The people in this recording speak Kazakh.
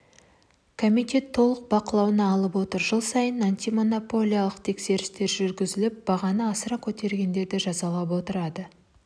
комитет толық бақылауына алып отыр жыл сайын антимонополиялық тексерістер жүргізіліп бағаны асыра көтергендерді жазалап отырады